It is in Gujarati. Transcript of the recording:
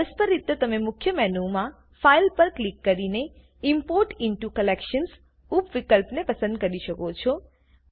પરસ્પર રીતે તમે મુખ્ય મેનુમાં ફાઇલ પર ક્લિક કરીને ઇમ્પોર્ટ ઇન્ટો કલેક્શન્સ ઉપ વિકલ્પને પસંદ કરી શકો છો